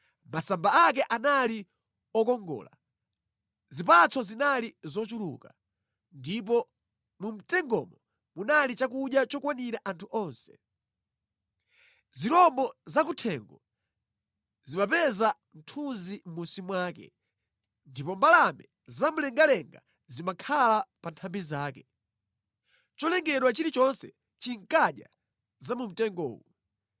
Masamba ake anali okongola, zipatso zinali zochuluka, ndipo mu mtengomo munali chakudya chokwanira anthu onse. Zirombo zakuthengo zimapeza mthunzi mʼmunsi mwake, ndipo mbalame zamlengalenga zimakhala pa nthambi zake: Cholengedwa chilichonse chinkadya za mu mtengowu.